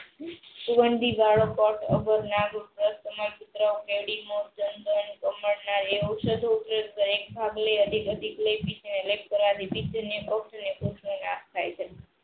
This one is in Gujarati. સદુપયોગ કરે નાશ થાય છે.